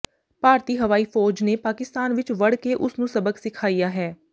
ਭਾਰਤੀ ਹਵਾਈ ਫ਼ੌਜ ਨੇ ਪਾਕਿਸਤਾਨ ਵਿਚ ਵੜ ਕੇ ਉਸ ਨੂੰ ਸਬਕ ਸਿਖਾਇਆ ਹੈ